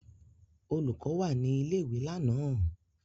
Olùkọ́ wà ní ilé-ìwé lánàá?